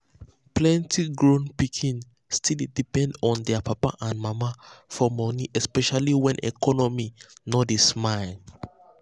plenty grown pikin still dey depend on their papa and mama for money especially when economy no dey smile.